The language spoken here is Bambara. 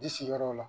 I sigiyɔrɔ la